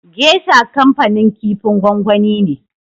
Gesha kanfanin kifin gwangwani ne.